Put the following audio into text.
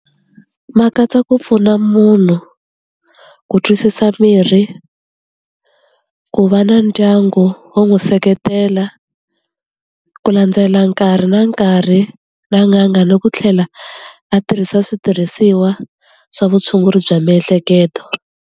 Ma katsa ku pfuna munhu ku twisisa mirhi, ku va na ndyangu wo n'wi seketela, ku landzela nkarhi na nkarhi, na n'anga ni ku tlhela a tirhisa switirhisiwa swa vutshunguri bya miehleketo.